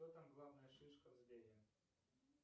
кто там главная шишка в сбере